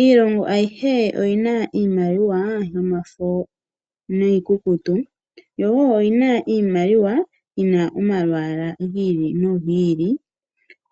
Iilongo ayihe oyina iimaliwa yomafo niikukutu yo oyina iimaliwa yina omalwaala gi ili nogi ili.